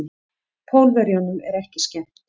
Pólverjunum er ekki skemmt.